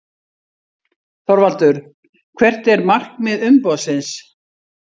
ÞORVALDUR: Hvert er markmið umboðsins?